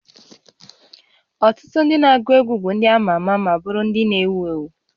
Ọtụtụ ndị na-agụ egwu bụ ndị ama ama ma bụrụ ndị ewu ewu